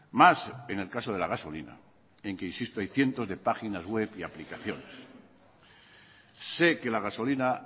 más en el caso de la gasolina en que insisto hay cientos de páginas web y aplicaciones sé que la gasolina